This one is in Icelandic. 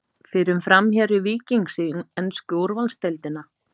Fyrrum framherji Víkings í ensku úrvalsdeildina?